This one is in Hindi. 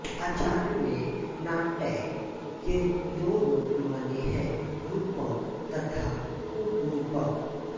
आचार्यों ने नाट्य के दो रूप माने हैं रूपक तथा उपरूपक